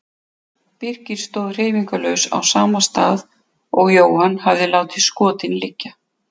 Birkir stóð hreyfingarlaus á sama stað og Jóhann hafði látið skotin liggja.